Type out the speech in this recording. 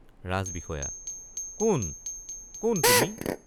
ৰাজবিষয়া—কোন কোন তুমি।